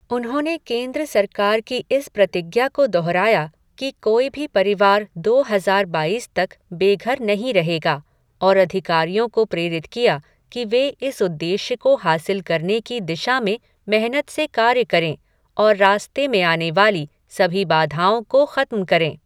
उन्होंने केन्द्र सरकार की इस प्रतिज्ञा को दोहराया कि कोई भी परिवार दो हजार बाईस तक बेघर नहीं रहेगा, और अधिकारियों को प्रेरित किया कि वे इस उद्देश्य को हासिल करने की दिशा में मेहनत से कार्य करें, और रास्ते में आने वाली सभी बाधाओं को खत्म करें।